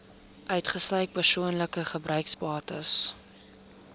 uitgesluit persoonlike gebruiksbates